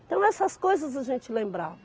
Então, essas coisas a gente lembrava.